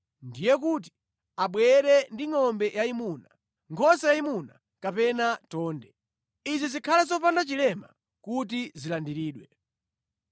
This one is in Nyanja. ndiye kuti abwere ndi ngʼombe yayimuna, nkhosa yayimuna kapena mbuzi yayimuna. Izi zikhale zopanda chilema kuti zilandiridwe.